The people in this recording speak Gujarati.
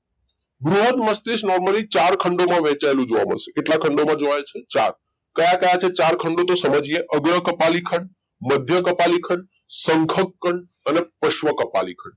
બૃહદ મસ્તિષ્ક normally ચાર ખંડોમાં વહેંચાયેલું જોવા મળશે કેટલા ખંડોમાં જોવા મળશે ચાર કયા કયા છે ચાર ખંડો તો સમજીએ અગ્ર કપાલી ખંડ મધ્ય કપાલી ખંડ શંખક ખંડ અને પશ્વ કપાલી ખંડ